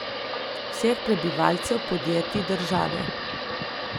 Vseh, prebivalcev, podjetij, države.